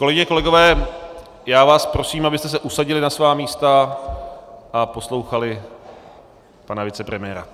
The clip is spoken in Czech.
Kolegyně a kolegové, já vás prosím, abyste se usadili na svá místa a poslouchali pana vicepremiéra.